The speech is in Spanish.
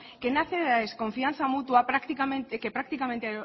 que nace de la desconfianza mutua que prácticamente